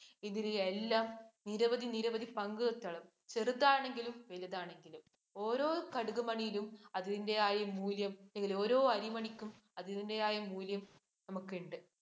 ഇതിനെയെല്ലാം നിരവധി നിരവധി പങ്കുകൾ ചെറുതാണെങ്കിലും വലുതാണെങ്കിലും ഓരോ കടുക് മണിയിലും അതിന്‍റെയായ മൂല്യം അല്ലെങ്കില്‍ ഓരോ അരിമണിക്കും അതിന്‍റേയായ മൂല്യം നമുക്കുണ്ട്.